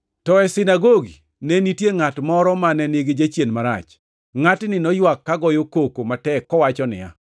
To e sinagogi ne nitie ngʼat moro mane nigi jachien marach. Ngʼatni noywak kogoyo koko matek kowacho niya,